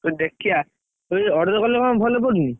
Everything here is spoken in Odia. ଦେଖିଆ, order କଲେ କଣ ଭଲ ପଡୁନି?